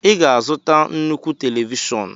ị ga-azụta nnukwu télévishọn